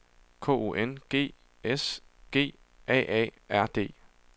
K O N G S G A A R D